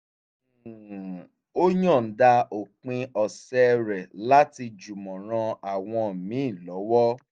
um ó yọ̀ǹda òpin ọ̀sẹ̀ rẹ̀ láti jùmọ̀ ran àwọn míì lọ́wọ́